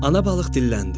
Ana balıq dilləndi: